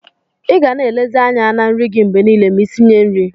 Iga na elezikwa anya na nri gi mgbe nile ma isinye nri.